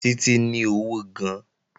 Títí ní ọ̀wọ̀ gan-an